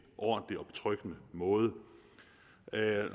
ordentlig og betryggende måde